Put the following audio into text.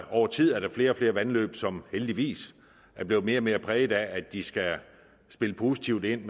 over tid er der flere og flere vandløb som heldigvis er blevet mere og mere præget af at de skal spille positivt ind